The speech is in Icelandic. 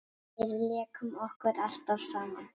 Við lékum okkur alltaf saman.